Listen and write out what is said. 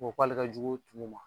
Ko k'ale ka jugu tumu ma